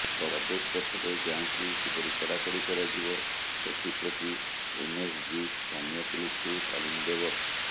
ପ୍ରବେଶ ପଥରେ ଯାଞ୍ଚକୁ କିପରି କଡ଼ାକଡ଼ି କରାଯିବ ସେଥିପ୍ରତି ଏନ୍ଏସ୍ଜି ସ୍ଥାନୀୟ ପୁଲିସ୍କୁ ତାଲିମ ଦେବ